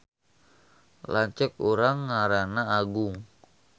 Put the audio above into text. Lanceuk urang ngaranna Agung